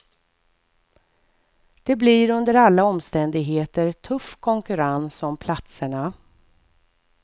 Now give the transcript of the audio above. Det blir under alla omständigheter tuff konkurrens om platserna.